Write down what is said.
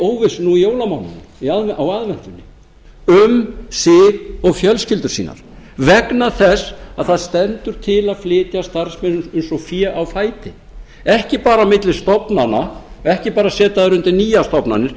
óvissu nú í jólamánuðinum á aðventunni um sig og fjölskyldur sínar vegna þess að það stendur til að flytja starfsmenn eins og fé á fæti ekki bara á milli stofnana ekki bara að setja þá undir nýjar stofnanir